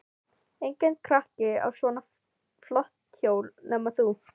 Enginn krakki á svona flott hjól nema þú.